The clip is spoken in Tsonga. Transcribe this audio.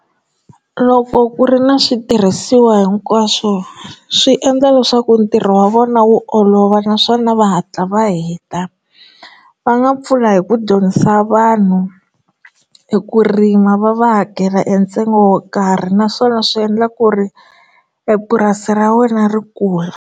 Loko ku ri na switirhisiwa hinkwaswo swi endla leswaku ntirho wa vona wu olova naswona va hatla va heta va nga pfula hi ku dyondzisa vanhu hi ku rima va va hakela entsengo wo karhi naswona swi endla ku ri epurasi ra wena ri kula.